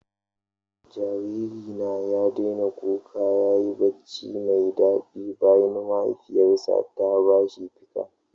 Jariri na ya daina kuka ya yi barci mai daɗi bayan mahaifiyarsa ta ba shi ficcan